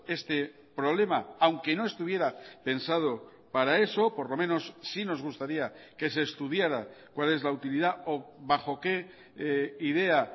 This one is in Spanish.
este problema aunque no estuviera pensado para eso por lo menos sí nos gustaría que se estudiara cuál es la utilidad o bajo qué idea